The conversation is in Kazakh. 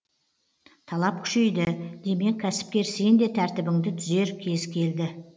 талап күшейді демек кәсіпкер сен де тәртібіңді түзер кез келді